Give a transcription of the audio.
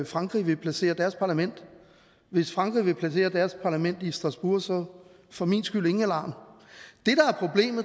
frankrig vil placere deres parlament hvis frankrig vil placere deres parlament i strasbourg så for min skyld ingen alarm